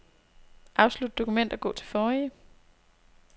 Afslut dokument og gå til forrige.